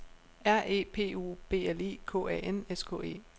R E P U B L I K A N S K E